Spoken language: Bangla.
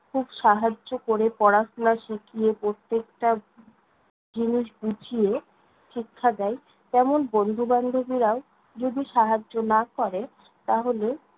খুব সাহায্য ক'রে পড়াশোনা শিখিয়ে প্রত্যেকটা জিনিস বুঝিয়ে শিক্ষা দেয়, তেমন বন্ধু-বান্ধবীরাও যদি সাহায্য না করে তাহলে